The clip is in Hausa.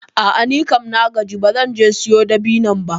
A'a nikam na gaji ba zan je siyo dabinon ba.